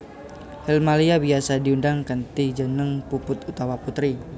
Helmalia biyasa diundang kanthi jeneng Puput utawa Putri